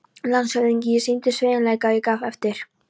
LANDSHÖFÐINGI: Ég sýndi sveigjanleika og gaf eftir.